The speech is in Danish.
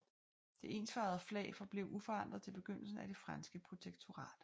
Det ensfarvede flag forblev uforandret til begyndelsen af det franske protektorat